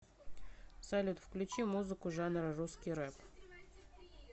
салют включи музыку жанра русский рэп